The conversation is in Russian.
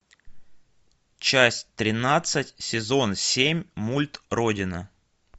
часть тринадцать сезон семь мульт родина